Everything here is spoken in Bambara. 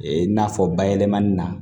Ee n'a fɔ bayɛlɛmani na